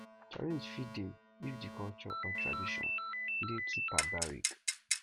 challenge fit dey if di culture or tradition dey too barbaric